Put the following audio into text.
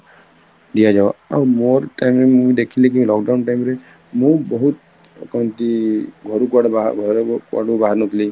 ଦିଅ ଯାଉ ଆଉ ମୋର time ମୁଁ ଦେଖିଲି କି lockdown time ରେ ମୁଁ ବହୁତ କହନ୍ତି ଘରୁ କୁଆଡେ ବାହାର ଘରୁ କୁଆଡୁ ବାହାରି ନଥିଲି